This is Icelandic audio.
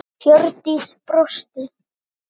Hjördís brosti.